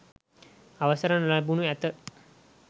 අවසර නොලැබෙනු ඇත.